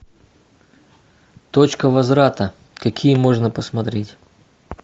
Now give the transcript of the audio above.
точка возврата какие можно посмотреть